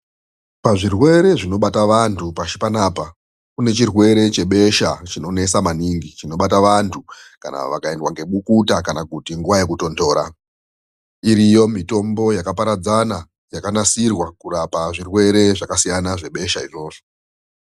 Pazvirwere zvinobata vantu pashi panapa. Kune zvirwere zvebesha chinonesa maningi chinobata antu kana vakaendwa ngemukuta, kana kuti nguva yekutonhora, iriyo mitombo yakaparadzana yakanasirwa kurapa zvirwere zvakasiyana zvebesha izvozvo.